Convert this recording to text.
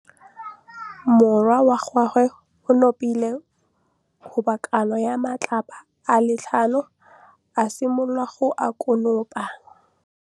Morwa wa gagwe o nopile kgobokanô ya matlapa a le tlhano, a simolola go konopa.